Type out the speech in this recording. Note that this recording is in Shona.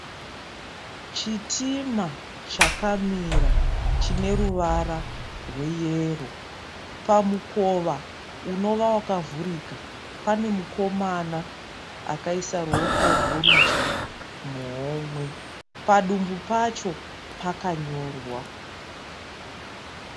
Chitima chakamira chineruvara rwe yero. Pamukova unova pakavurika panemukomana akaisa ruwoko rwe rudyimuhomwe padumbu pasho pakanyorwa.